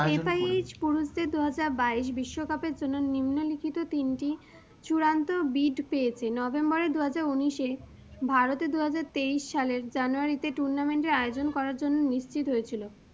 FIH পুরুষদের দুহাজার বাইশ বিশ্বকাপের জন্য নিম্নলিখিত তিনটি চূড়ান্ত bid পেয়েছে, নভেম্বরের দু হাজার উনিশে ভারতে দু হাজার তেইশ সালের জানুয়ারীতে tournament এর আয়োজন করার জন্য নিশ্চিত হয়েছিলো।